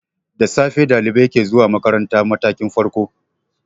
Da safe ɗalibai ke zuwa makarantar matakin farko.